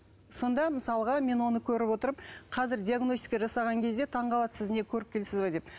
сонда мысалға мен оны көріп отырып қазір диагностика жасаған кезде таңғалады сіз не көріпкелсіз бе деп